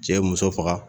Cɛ ye muso faga